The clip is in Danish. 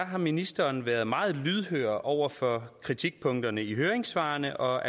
har ministeren været meget lydhør over for kritikpunkterne i høringssvarene og